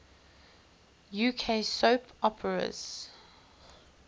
uk soap operas